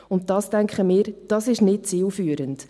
Dies erscheint uns nicht zielführend.